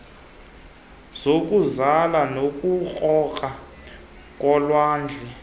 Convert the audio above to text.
zokuzala nokurhoxa kolwandle